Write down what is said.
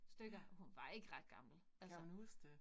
Stykker. Hun var ikke ret gammel. Altså